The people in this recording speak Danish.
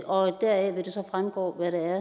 og deraf vil det så fremgå hvad det er